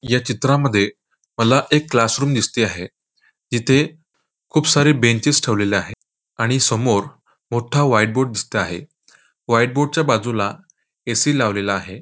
या चित्रामध्ये मला एक क्लासरूम दिसते आहे इथे खूप सारे बेंचेस ठेवलेले आहे आणि समोर मोठा व्हाईट बोर्ड दिसता आहे व्हाईट बोर्ड च्या बाजूला ए.सी. लावलेला आहे.